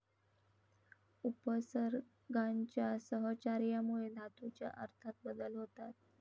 उपसर्गांच्या सहचार्यामुळे धातूच्या अर्थात बदल होतात.